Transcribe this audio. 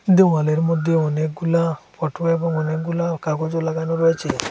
দেওয়ালের মধ্যে অনেকগুলা ফটো এবং অনেকগুলা কাগজও লাগানো রয়েছে।